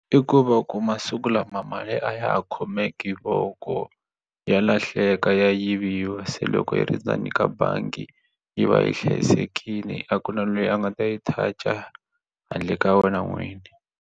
I ku va ku masiku lama mali a ya hi khomeki voko ya lahleka ya yiviwa se loko yi ri ndzeni ka bangi yi va yi hlayisekini a ku na lweyi a nga ta yi touch handle ka wena n'wini.